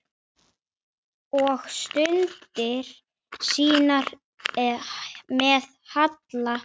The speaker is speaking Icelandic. Og stundir sínar með Halla.